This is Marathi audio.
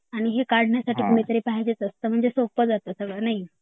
आणि हे काढण्यासाठी कोणीतरी पाहिजे असतं म्हणजे सगळं सोप्पं जाता नाही